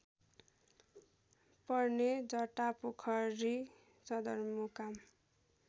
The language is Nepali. पर्ने जटापोखरी सदरमुकाम